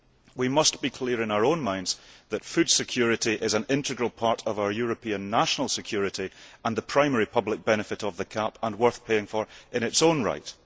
We must be clear in our own minds that food security is an integral part of our European national security and the primary public benefit of the CAP which is worth paying for in its own right.